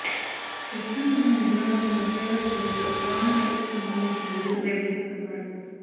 ప్రస్తుతం అతనికి నగరంలోని ఘంటాఘర్ కూడలిలో కరోనా కట్టడికి సంబంధించిన విధులు నిర్వర్తిస్తున్నాడు